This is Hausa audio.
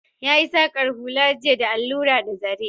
Ya yi saƙar hula jiya da allura da zare